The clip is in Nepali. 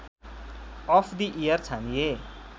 of the year छानिए